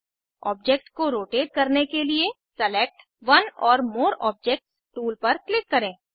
object को rotate करने के लिए select one or more objects tool पर क्लिक करें